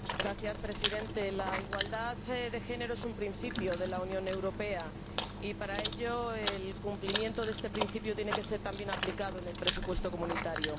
Señor Presidente, la igualdad de género es un principio de la Unión Europea y, por ello, el cumplimiento de este principio tiene que ser también aplicado en el presupuesto comunitario.